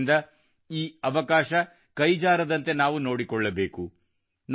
ಆದ್ದರಿಂದ ಈ ಅವಕಾಶ ಕೈಜಾರದಂತೆ ನಾವು ನೋಡಿಕೊಳ್ಳಬೇಕು